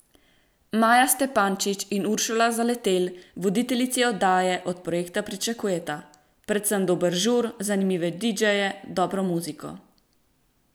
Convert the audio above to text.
Maja Stepančič in Uršula Zaletelj, voditeljici oddaje, od projekta pričakujeta: "Predvsem dober žur, zanimive didžeje, dobro muziko.